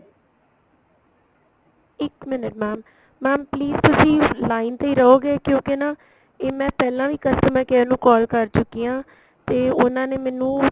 ਇੱਕ minute mam mam please ਤਸੀ line ਤੇ ਹੀ ਰਹੋਗੇ ਕਿਉਂਕਿ ਨਾ ਇਹ ਮੈਂ ਪਹਿਲਾਂ ਵੀ customer care ਨੂੰ call ਕਰ ਚੁੱਕੀ ਆ ਤੇ ਉਹਨਾ ਨੇ ਮੈਨੂੰ